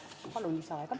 Palun lisaaega!